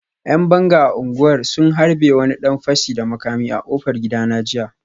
‘Yan banga a unguwar sun harbe wani dan fashi da makami a kofar gidana jiya